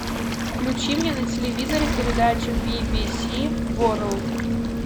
включи мне на телевизоре передачу би би си ворлд